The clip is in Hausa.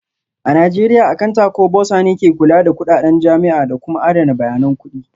A Najeriya Akanta ko Bursar ne ke kula da kudaden jami'a da kuma adana bayanan kudi